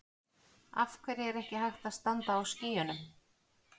Af hverju er ekki hægt að standa á skýjunum?